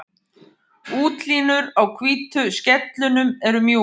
Útlínur á hvítu skellunum eru mjúkar.